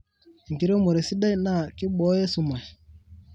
Erenkiremore sidai naa kiboyo esumash.